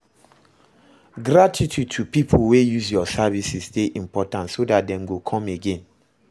Gratitude to pipo wey use your services de important so that Dem go come again